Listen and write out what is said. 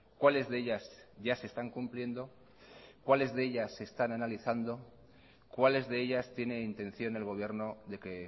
cuáles de ellas ya se están cumpliendo cuáles de ellas se están analizando cuáles de ellas tiene intención el gobierno de que